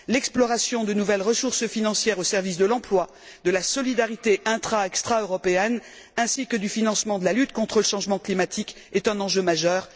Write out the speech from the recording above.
L'exploration de nouvelles ressources financières au service de l'emploi, de la solidarité intra et extraeuropéenne, ainsi que du financement de la lutte contre le changement climatique, est un enjeu majeur.